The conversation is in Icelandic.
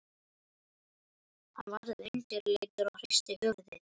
Hann varð undirleitur og hristi höfuðið.